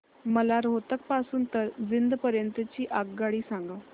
मला रोहतक पासून तर जिंद पर्यंत ची आगगाडी सांगा